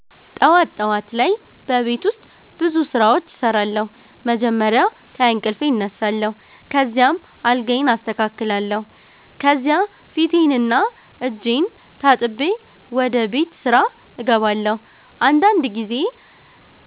ጠዋት ጠዋት ላይ በቤት ውስጥ ብዙ ስራዎች እሰራለሁ። መጀመሪያ ከእንቅልፌ እነሳለሁ፣ ከዚያም አልጋዬን አስተካክላለሁ። ከዚያ ፊቴንና እጄን ታጥቤ ወደ ቤት ስራ እገባለሁ። አንዳንድ ጊዜ